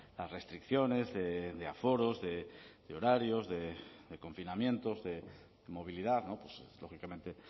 las restricciones de aforos de horarios de confinamientos de movilidad lógicamente